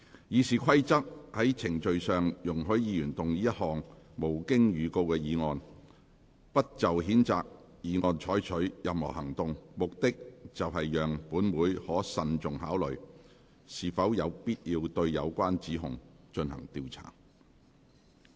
《議事規則》在程序上容許議員動議一項無經預告的議案，不就譴責議案再採取任何行動，目的是讓本會可慎重考慮是否有必要對有關指控進行調查。